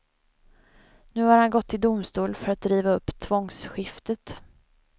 Nu har han gått till domstol för att riva upp tvångsskiftet.